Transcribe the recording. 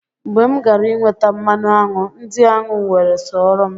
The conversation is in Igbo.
Mgbe m gara inweta mmanụ aṅụ, ndị aṅụ wee soro m.